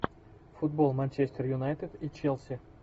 футбол манчестер юнайтед и челси